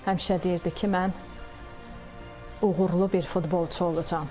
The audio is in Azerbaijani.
Həmişə deyirdi ki, mən uğurlu bir futbolçu olacam.